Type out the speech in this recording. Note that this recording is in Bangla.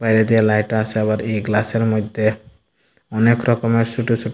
এদিকে লাইট আসে আবার এই গ্লাস এর মইদ্যে অনেক রকমের ছুট ছু --